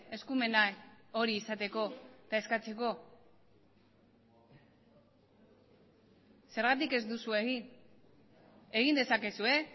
eskumena hori izateko eta eskatzeko zergatik ez duzue egin egin dezakezue